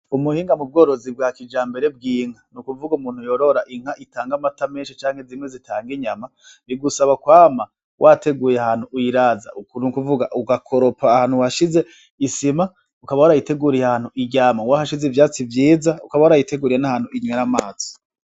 Umuhinga mu bworozi bwa kija mbere bw'inka ni ukuvuga umuntu yorora inka itanga amatamenshi canke zimwe zitanga inyama bigusaba kwama wateguye ahantu uyiraza ukni ukuvuga ugakoropa ahantu hashize isima ukaba warayiteguriye ahantu iryama uwa hashize ivyatsi vyiza ukaba warayiteguriye n'ahantu inywera amazi.